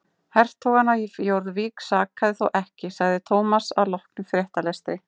Hertogann af Jórvík sakaði þó ekki sagði Thomas að loknum fréttalestri.